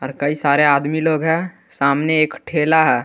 कई सारे आदमी लोग है सामने एक ठेला है।